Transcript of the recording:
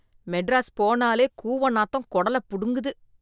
மெட்ராஸ் போனாலே கூவ நாத்தம் குடல புடுங்குது.